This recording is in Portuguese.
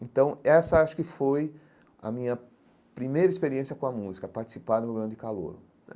Então, essa acho que foi a minha primeira experiência com a música, participar do programa de Calouro.